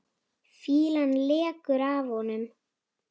Fýlan lekur af honum.